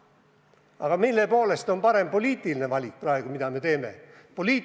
Aga mille poolest on parem poliitiline valik, mida me praegu teeme?